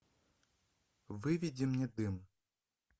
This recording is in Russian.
выведи мне дым